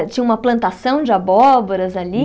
Tinha uma plantação de abóboras ali?